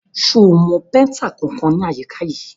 Ṣo mọ péntà kankan ní àyíká yìí?